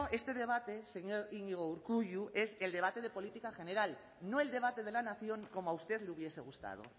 este debate señor iñigo urkullu es el debate de política general no el debate de la nación como a usted le hubiese gustado